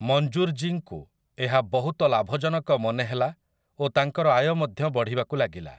ମଞ୍ଜୁର୍‌ଜୀଙ୍କୁ ଏହା ବହୁତ ଲାଭଜନକ ମନେହେଲା ଓ ତାଙ୍କର ଆୟ ମଧ୍ୟ ବଢ଼ିବାକୁ ଲାଗିଲା ।